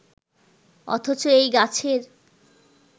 অথচ এই গাছের